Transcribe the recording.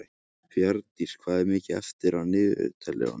Bjarndís, hvað er mikið eftir af niðurteljaranum?